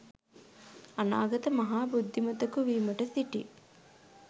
අනාගත මහා බුද්ධිමතෙකු වීමට සිටි